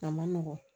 A ma nɔgɔn